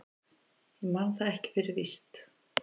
Ég man það ekki fyrir víst.